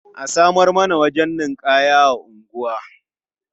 A samar mana wajen ninƙaya a unguwa.